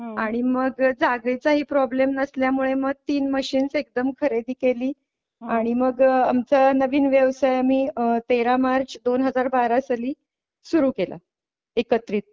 हां , आणि मग जागे चाही प्रॉब्लेम नसल्यामुळे मग तीन मशीन्स एकदम खरेदी केली आणि मग आमचा नवीन व्यवसाय मी अ तेरा मार्च दोन हजार बारा साली सुरू केला एकत्रितपणे.